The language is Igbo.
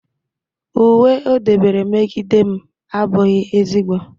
uwe o debere megide m abụghị ezigbo